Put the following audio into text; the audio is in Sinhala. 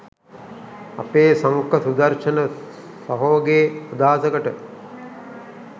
අපේ සංඛ සුදර්ශණ සහෝගේ අදහසකට